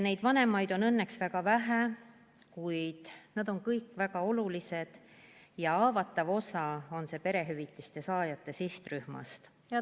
Neid vanemaid on õnneks väga vähe, kuid nad on kõik väga olulised ja see osa perehüvitiste saajate sihtrühmast on haavatav.